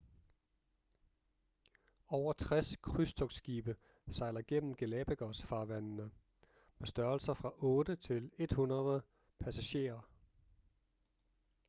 over 60 krydstogtsskibe sejler gennem galapagos-farvandene med størrelser fra 8 til 100 passagerer